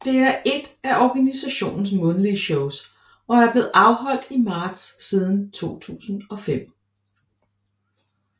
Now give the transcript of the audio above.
Det er ét af organisationens månedlige shows og er blevet afholdt i marts siden 2005